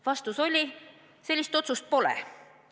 Vastus oli: sellist otsust pole.